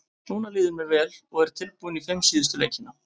Núna líður mér vel og er tilbúinn í fimm síðustu leikina.